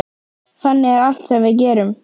Þannig er allt sem við gerum.